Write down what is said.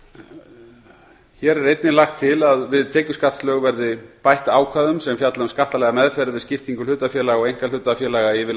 hér er einnig lagt til að við tekjuskattslög verði bætt ákvæðum sem fjalla um skattalega meðferð við skiptingu hlutafélaga og einkahlutafélaga yfir